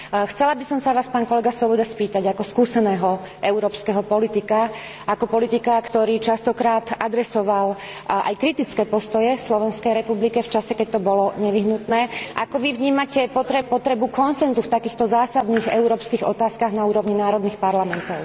Chcela by som sa vás, pán kolega Swoboda spýtať, ako skúseného európskeho politika, ako politika, ktorý častokrát adresoval aj kritické postoje Slovenskej republike v čase, keď to bolo nevyhnutné, ako vy vnímate potrebu konsenzu v takýchto zásadných európskych otázkach na úrovni národných parlamentov?